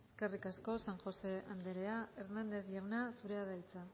eskerrik asko eskerrik asko san josé anderea hernández jauna zurea da hitza